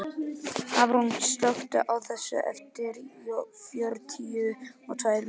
Hafrún, slökktu á þessu eftir fjörutíu og tvær mínútur.